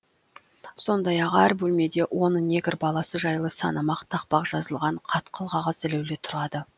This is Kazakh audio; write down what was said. сондай ақ әр бөлмеде он негр баласы жайлы санамақ тақпақ жазылған қатқыл қағаз ілулі тұрады